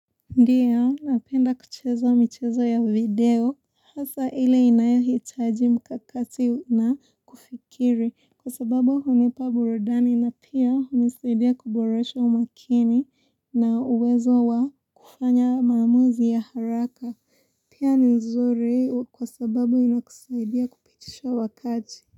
Ndio napenda kuchezo michezo ya video hasa ile inayo hitaji mkakati na kufikiri kwa sababu hunipa burudani na pia hunisidia kuboresha umakini na uwezo wa kufanya mamuzi ya haraka pia nizuri kwa sababu inakusaidia kupitisha wakati.